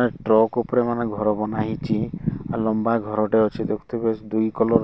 ଏଁ truck ଉପରେ ମାନେ ଘର ବନାହେଇଚି ଓ ଲମ୍ବା ଘରଟେ ଅଛି ଦେଖୁଥୁବେ ସେ ଦୁଇ କଲର --